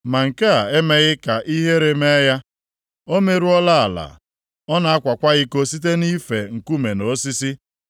Ma nke a emeghị ka ihere mee ya. O merụọla ala, ọ na-akwakwa iko site nʼife nkume na osisi.